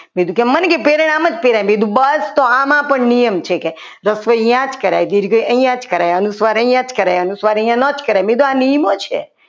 મન કીધું પ્રેરણ આમ જ પહેરાય બસ આમાં પણ નિયમ છે કે રસવઇ આ જ કરાય દિલ ગઈ અહીંયા જ કરાય અનુસ્વાર અહીંયા જ કરાય અનુસ્વાર અહીંયા નોંધ કરાય મેં કીધું આ નિયમો છે.